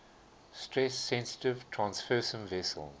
stress sensitive transfersome vesicles